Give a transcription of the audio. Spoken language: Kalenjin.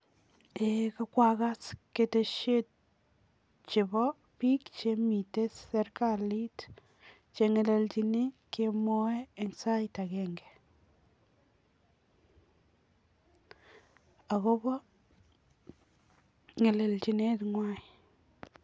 Eeh kwakas ketesiet chebo biik chemitei serikalit che ngelelchini kemwoe eng sait agenge akobo ngelelchinet ngwai.